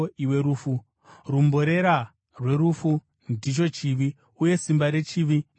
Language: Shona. Rumborera rwerufu ndicho chivi, uye simba rechivi ndiwo murayiro.